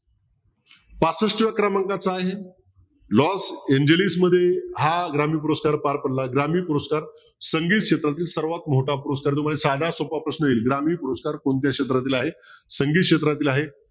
पाचष्ठ क्रमांकाचं आहे हा ग्रामीण पुरस्कार पार पडला ग्रामीण पुरस्कार संगीत क्षेत्रातील सर्वात मोठा पुरस्कार जो तुम्हाला साधा सोपा प्रश्न येईल ग्रामीण पुरस्कार कोणत्या क्षेत्रातील आहे. संगीत क्षेत्रातील आहे.